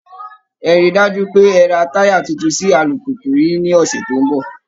Ẹ rí i dájú pé ẹ ra táyà tuntun sí alùpùpù yìí ní ọ̀sẹ̀ tó ń bọ̀!